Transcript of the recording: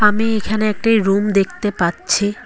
আমি এইখানে একটি রুম দেখতে পাচ্ছি।